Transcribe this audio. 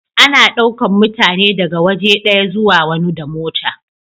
Ana daukan mutane daga waje daya zuwa wani da mota.